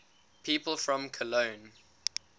people from cologne